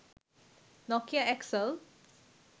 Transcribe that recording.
Nokia X L